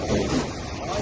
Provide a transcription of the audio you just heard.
Gətir, gətir.